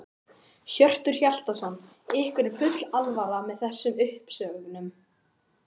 Hjörtur Hjartarson: Ykkur er full alvara með þessum uppsögnum?